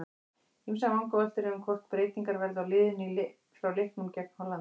Ýmsar vangaveltur eru um hvort breytingar verði á liðinu frá leiknum gegn Hollandi.